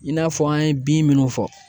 I n'a fɔ an ye bin minnu fɔ.